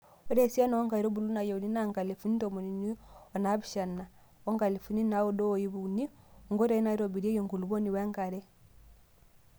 Ore esiana oo nkaitubulu naayieuni naa nkalifuni tomoniuni onaapishana oo nkalifuni naaudo o ip uni. INKOITOI NAAITOBIRIEKI ENKULUPUONI WENKARE.